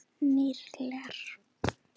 Níger